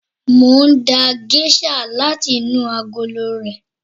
Mo ń da géṣà láti inú agolo rẹ̀.